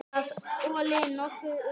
Það olli nokkrum usla.